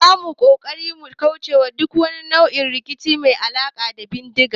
Zamu yi kokari mu kaucewa duk wani nau'in rikici mai alaka da bindiga